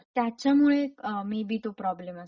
त्याच्यामुळे अ.. maybe तो प्रॉब्लेम असेल.